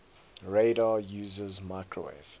radar uses microwave